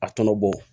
A tɔnɔ bɔ